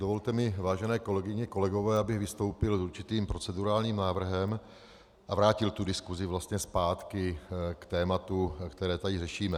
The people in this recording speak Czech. Dovolte mi, vážené kolegyně, kolegové, abych vystoupil s určitým procedurálním návrhem a vrátil tu diskusi vlastně zpátky k tématu, které tady řešíme.